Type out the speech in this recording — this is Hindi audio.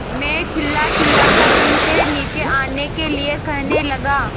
मैं चिल्लाचिल्लाकर उनसे नीचे आने के लिए कहने लगा